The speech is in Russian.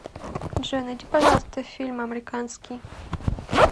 джой найди пожалуйста фильм амриканский